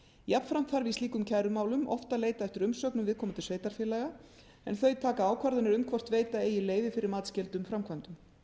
jafnframt þarf í slíkum kærumálum oft að leita eftir umsögnum viðkomandi sveitarfélaga en þau taka ákvarðanir um hvort veita eigi leyfi fyrir matsskyldum framkvæmdum